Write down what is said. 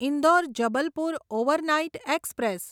Indore Jabalpur overnight express